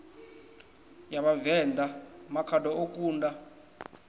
ya vhavenḓa makhado o kunda